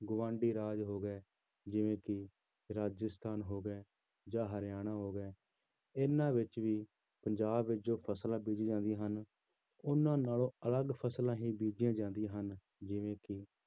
ਗੁਆਂਢੀ ਰਾਜ ਹੋ ਗਏ ਜਿਵੇਂ ਕਿ ਰਾਜਸਥਾਨ ਹੋ ਗਿਆ ਜਾਂ ਹਰਿਆਣਾ ਹੋ ਗਿਆ, ਇਹਨਾਂ ਵਿੱਚ ਵੀ ਪੰਜਾਬ ਵਿੱਚ ਜੋ ਫ਼ਸਲਾਂ ਬੀਜੀਆਂ ਜਾਂਦੀਆਂ ਹਨ ਉਹਨਾਂ ਨਾਲੋਂ ਅਲੱਗ ਫ਼ਸਲਾਂ ਹੀ ਬੀਜੀਆਂ ਜਾਂਦੀਆਂ ਹਨ ਜਿਵੇਂ ਕਿ